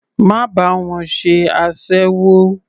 Má bá wọn ṣe aséwó.